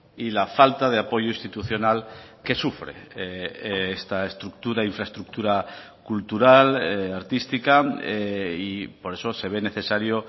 y la falta de apoyo institucional que sufre esta estructura infraestructura cultural artística y por eso se ve necesario